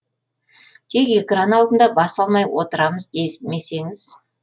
тек экран алдында бас алмай отырамыз десмесеңіз